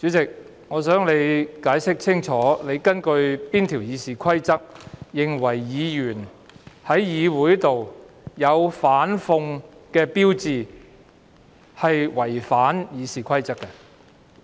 主席，請你解釋清楚，你是根據《議事規則》哪一項條文裁決議員在議會內展示反諷語句屬於違反《議事規則》？